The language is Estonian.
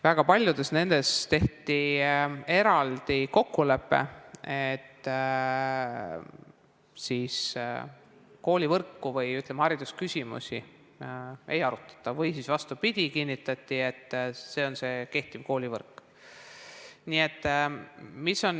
Väga paljudes nendes tehti eraldi kokkulepe, et koolivõrku või haridusküsimusi ei arutata, või vastupidi, kinnitati, et jääb kehtiv koolivõrk.